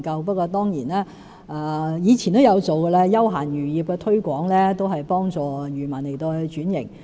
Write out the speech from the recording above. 不過，我們以前也曾推廣休閒漁業，幫助漁民轉型。